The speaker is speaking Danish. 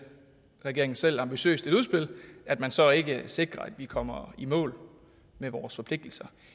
regeringen selv ambitiøst et udspil at man så ikke sikrer at vi kommer i mål med vores forpligtelser